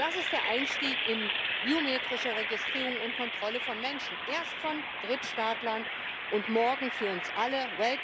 Und das ist der Einstieg in biometrische Registrierung und Kontrolle von Menschen, erst von Drittstaatlern und morgen von uns allen.